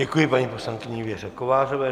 Děkuji paní poslankyni Věře Kovářové.